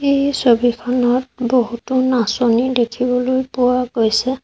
এই ছবিখনত বহুতো নাচনী দেখিবলৈ পোৱা গৈছে।